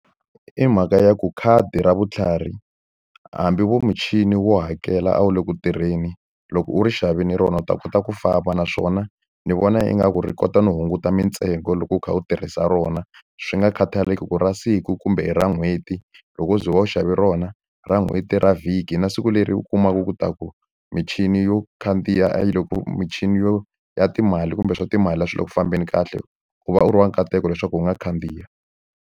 I mhaka ya ku khadi ra vutlhari, hambi vo muchini wo hakela a wu le ku tirheni, loko u ri xavile rona u ta kota ku famba. Naswona ni vona ingaku ri kota no hunguta mintsengo loko u kha u tirhisa rona, swi nga khataleki ku i ra siku kumbe hi ra n'hweti. Loko u ze u va u xave rona ra n'hweti, ra vhiki, na siku leri u kumaka leswaku michini yo khandziya michini yo ya timali kumbe swa timali a swi le ku fambeni kahle, u va u ri wa nkateko leswaku u nga khandziya.